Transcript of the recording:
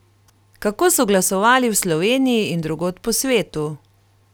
Kako so glasovali v Sloveniji in drugod po svetu?